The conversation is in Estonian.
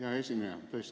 Hea esineja!